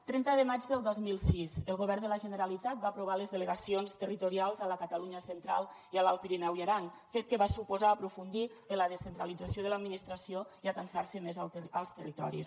trenta de maig del dos mil sis el govern de la generalitat va aprovar les delegacions territorials a la catalunya central i a l’alt pirineu i aran fet que va suposar aprofundir en la descentralització de l’administració i atansar se més als territoris